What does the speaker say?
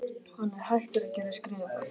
Hann er hættur að geta skrifað